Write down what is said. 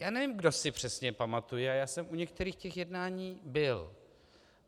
Já nevím, kdo si přesně pamatuje, a já jsem u některých těch jednání byl.